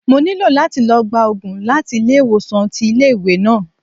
Mo ní láti lọ gba Ògùn láti ilé ìwòsàn tí ilé ìwé náà.